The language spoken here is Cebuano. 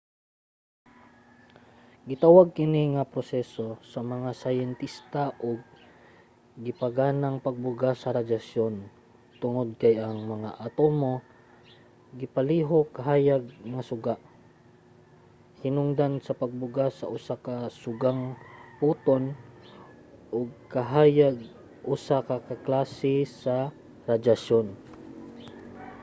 gitawag kini nga proseso sa mga syintesta og gipaganang pagbuga sa radyasyon tungod kay ang mga atomo gipalihok sa hayag nga suga hinungdan sa pagbuga sa usa ka sugang photon ug ang kahayag usa ka klase sa radyasyon